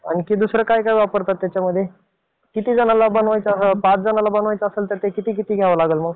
आणखी दुसरं काय वापरतो त्याच्यामध्ये? कितीजणांना बनवायचे? पाच जणांसाठी बनवायचे असेल तर किती किती घ्यावं लागेल त्यामध्ये?